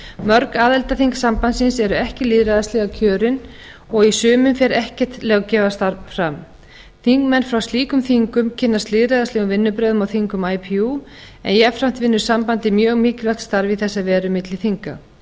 mörg aðildarþing sambandsins eru ekki lýðræðislega kjörin og í sumum fer ekkert löggjafarstarf fram þingmenn frá slíkum þingum kynnast lýðræðislegum vinnubrögðum á þingum ipu en jafnframt vinnur sambandið mjög mikilvægt starf í þessa veru milli þinga